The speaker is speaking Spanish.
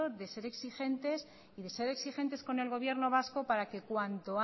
de ser exigentes y de ser exigentes con el gobierno vasco para que cuanto